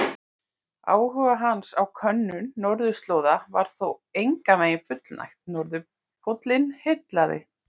Áhuga hans á könnun norðurslóða var þó engan veginn fullnægt, norðurpóllinn heillaði.